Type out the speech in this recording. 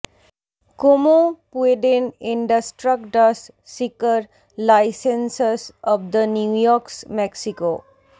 Como পুয়ডেন ইন্ডাস্ট্রাকডাস সিকর লাইসেন্সস অব দ্য নিউইউক্স মেক্সিকো